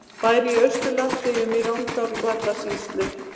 Bær í Austur-Landeyjum í Rangárvallasýslu.